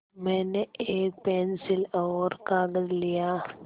मैंने एक पेन्सिल और कागज़ लिया